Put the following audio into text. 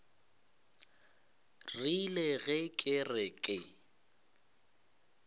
rile ge ke re ke